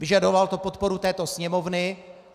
Vyžadovalo to podporu této Sněmovny.